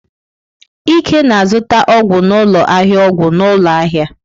Ike na-azụta ọgwụ n'ụlọ ahịa ọgwụ n'ụlọ ahịa.